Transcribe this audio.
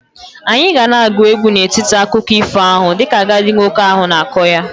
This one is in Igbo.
Anyị ga na-agụ egwu n'etiti akụkọ ifo ahụ dịka agadi nwoke ahụ na-akọ ya.